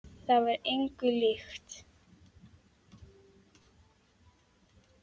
Það var engu líkt.